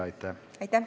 Aitäh!